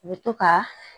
U bɛ to ka